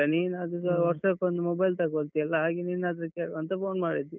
ನೀನದುಸಾ ವರ್ಷಕ್ಕೊಂದು mobile ತಗೋಳ್ತಿ ಅಲ್ಲಾ? ಹಾಗೆ ನಿನ್ ಹತ್ರ ಕೇಳುವ ಅಂತ phone ಮಾಡಿದ್ದು.